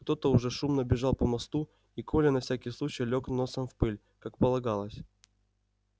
кто-то уже шумно бежал по мосту и коля на всякий случай лёг носом в пыль как полагалось